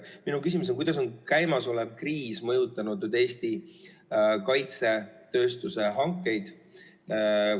Minu küsimus on: kuidas on käimasolev kriis mõjutanud Eesti kaitsetööstuse tarneid?